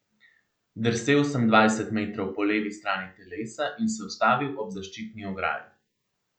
Drsel sem dvajset metrov po levi strani telesa in se ustavil ob zaščitni ograji.